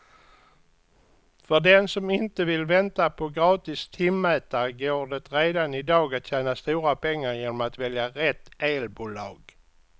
För den som inte vill vänta på gratis timmätare går det redan i dag att tjäna stora pengar genom att välja rätt elbolag.